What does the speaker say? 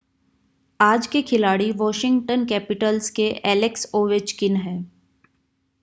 आज के खिलाड़ी वॉशिगंटन कैपिटल्स के एलेक्स ओवेचकिन हैं